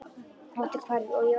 Óttinn hvarf og ég var frjáls.